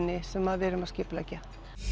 sem við erum að skipuleggja